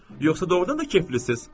yoxsa doğrudan da keyflisiz?